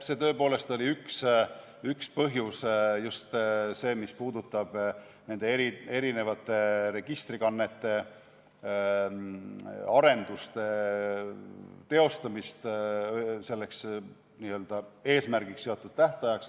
See tõepoolest oli üks põhjusi, just see, mis puudutab nende erinevate registrikannete arenduste teostamist selleks eesmärgiks seatud tähtajaks.